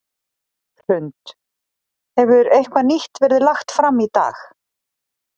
Hrund: Hefur eitthvað nýtt verið lagt fram í dag?